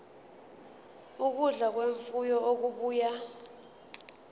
ukudla kwemfuyo okubuya